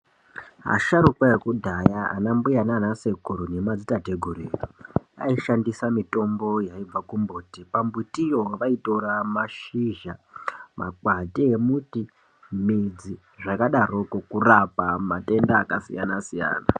Asharukwa ekudhaya ana mbuya nana sekuru nemadzitate guru edu aishandise mitombo yaibva kumbiti pambitiyo vaitora mashizha makwati emuti midzi zvakadaroko kurapa matenda akasiyana siyana.